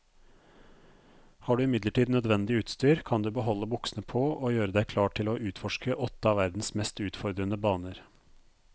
Har du imidlertid nødvendig utstyr, kan du beholde buksene på og gjøre deg klar til å utforske åtte av verdens mest utfordrende baner.